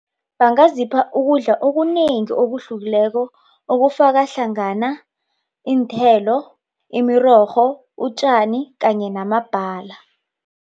Bangazipha ukudla okunengi okuhlukileko okufakahlangana iinthelo, imirorho, utjani kanye namabhala.